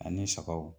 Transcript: Ani sagaw